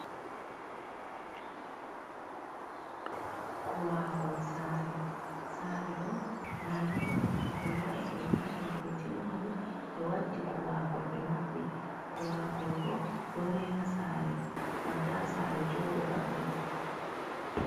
Kowaagol sare, sare ɗo ndade ɗo ɓe wa’i ɓe mahi ɓe timmini ɓe waddi kowagol ɓe maɓɓi. Kowaagol bo ɗo rena saare ngam ta sare jooɗo bannin.